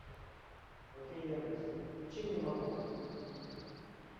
окей яндекс включи мне мармок